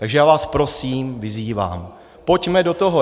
Takže já vás prosím, vyzývám, pojďme do toho.